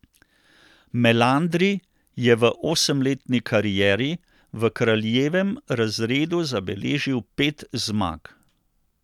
Melandri je v osemletni karieri v kraljevem razredu zabeležil pet zmag.